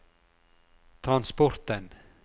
transporten